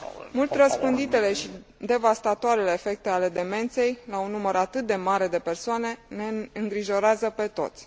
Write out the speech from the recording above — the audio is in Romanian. Mult răspânditele și devastatoarele efecte ale demenței, la un număr atât de mare de persoane, ne îngrijorează pe toți.